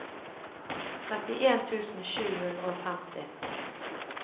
trettien tusen sju hundre og femti